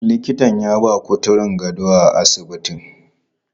Likitan ya ba kuturun gado a asibitin.